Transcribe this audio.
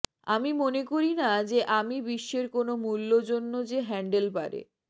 আমি মনে করি না যে আমি বিশ্বের কোন মূল্য জন্য যে হ্যান্ডেল পারে